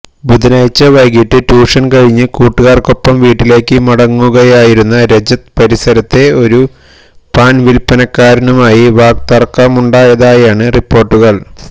ബുധനാഴ്ച വൈകിട്ട് ട്യൂഷന് കഴിഞ്ഞ് കൂട്ടുകാര്ക്കൊപ്പം വീട്ടിലേക്ക് മടങ്ങുകയായിരുന്ന രജത് പരിസരത്തെ ഒരു പാന് വില്പ്പനക്കാരനുമായി വാക്തര്ക്കമുണ്ടാതായാണ് റിപ്പോര്ട്ടുകള്